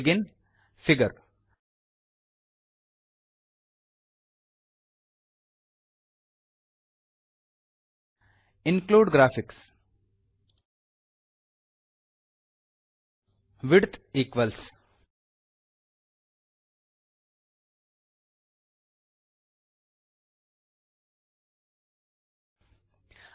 begin figure include graphics width equals